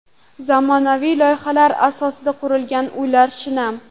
Zamonaviy loyihalar asosida qurilgan uylar shinam.